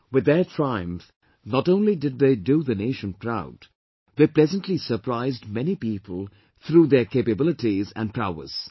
With their triumph, not only did they do the Nation proud, they pleasantly surprised many people through their capabilities and prowess